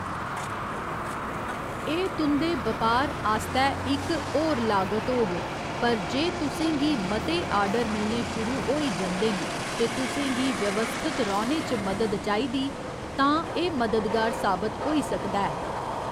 एह्‌‌ तुं'दे बपार आस्तै इक होर लागत होग पर जे तुसें गी मते आर्डर मिलने शुरू होई जंदे न ते तुसें गी व्यवस्थत रौह्‌‌‌ने च मदद चाहिदी, तां एह्‌‌ मददगार साबत होई सकदा ऐ।